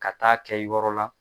Ka taa kɛ yɔrɔ la.